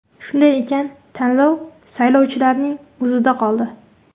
Shunday ekan, tanlov saylovchilarning o‘zida qoldi.